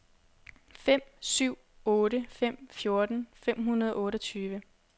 fem syv otte fem fjorten fem hundrede og otteogtyve